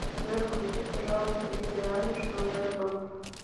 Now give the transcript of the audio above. джой включи пожалуйста билли айлиш новый альбом